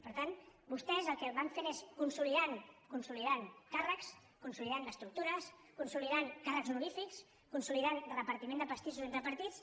per tant vostès el que van fent és consolidar càrrecs consolidar estructures consolidar càrrecs honorífics consolidar repartiment de pastissos entre partits